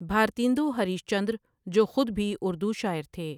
بھار تیندو Harishchandra جو خود بھی اردو شاعر تھے ۔